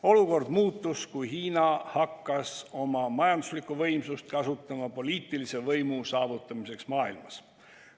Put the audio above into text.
Olukord muutus, kui Hiina hakkas oma majanduslikku võimsust kasutama poliitilise võimu saavutamiseks maailmas.